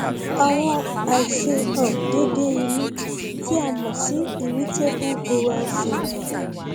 àwọn àìṣe um déédé inú tí a mọ sí irritable bowel syndrome